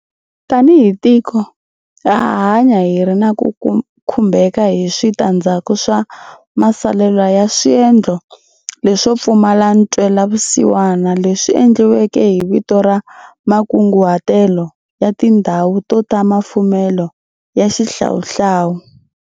Tanihi tiko, ha ha hanya hi ri na ku khumbeka hi swita ndzhaku swa masalelwa ya swendlo leswo pfumala ntwe lavusiwana leswi endliweke hi vito ra makunguhatelo ya tindhawu to ta mafumelo ya xihlawuhlawu.